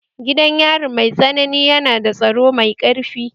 Gidan yari mai tsanani yana da tsaro mai ƙarfi